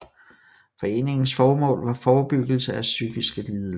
Foreningens formål var forebyggelse af psykiske lidelser